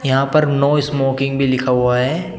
यहां पर no smoking भी लिखा हुआ है।